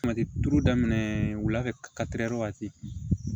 Kuma tɛ tulu daminɛ wula fɛ wagati